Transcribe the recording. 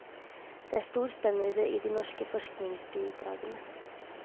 Det er stor spennvidde i de norske forskningsbidragene.